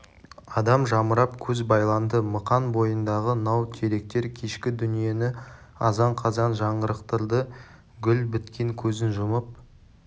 адам жамырап көз байланды мықан бойындағы нау теректер кешкі дүниені азан-қазан жаңғырықтырды гүл біткен көзін жұмып